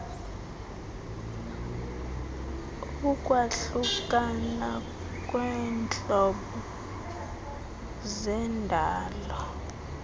ukwahlukana kweentlobo zendalo